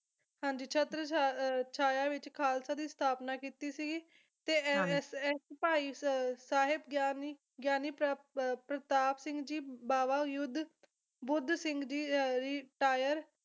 ਹਾਂਜੀ ਛਤਰ ਛਾ ਅਹ ਛਾਇਆ ਵਿੱਚ ਖਾਲਸਾ ਦੀ ਸਥਾਪਨਾ ਕੀਤੀ ਸੀਗੀ ਤੇ ਏ ਏ ਇਸ ਇਸ ਭਾਈ ਸਾਹਿਬ ਗਿਆਨੀ ਗਿਆਨੀ ਪਰ ਪ੍ਰਤਾਪ ਸਿੰਘ ਜੀ ਬਾਵਾ ਯੁੱਧ ਬੁੱਧ ਸਿੰਘ ਜੀ ਰਿਟਾਇਰ